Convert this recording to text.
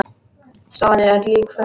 Stofan er öll líkföl.